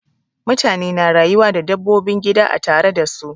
Mutane na rayuwa da dabbobin gida a tare da su.